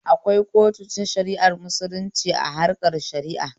Akwai kotun shara'ar musulunci a harkan shara'a